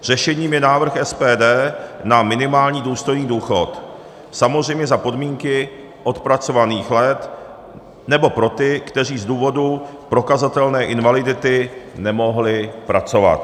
Řešením je návrh SPD na minimální důstojný důchod, samozřejmě za podmínky odpracovaných let nebo pro ty, kteří z důvodu prokazatelné invalidity nemohli pracovat.